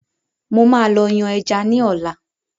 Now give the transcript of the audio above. Mo máa lọ yàn ẹja ní ola